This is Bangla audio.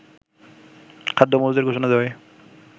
খাদ্য মজুদের ঘোষণা দেওয়ায়